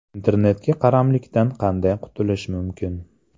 Internetga qaramlikdan qanday qutulish mumkin?.